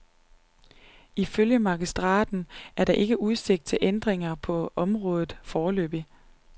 Ifølge magistraten er der ikke udsigt til ændringer på området foreløbig.